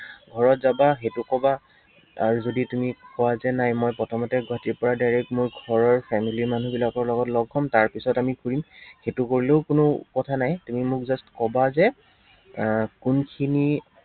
ঘৰত যাবা, সেইটো কবা, আৰু যদি তুমি কোৱা যে নাই, মই প্ৰথমতে গুৱাহাটীৰ পৰা direct মই ঘৰৰ family ৰ মানুহবিলাকৰ লগত লগ হম, তাৰপিছত আমি ফুৰিম, সেইটো কৰিলেও কোনো কথা নাই, তুমি মোক just কবা যে, আহ কোনখিনি